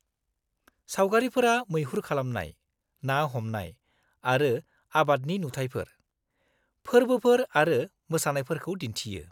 -सावगारिफोरा मैहुर खालामनाय, ना हमनाय आरो आबादनि नुथायफोर, फोरबोफोर आरो मोसानायफोरखौ दिन्थियो।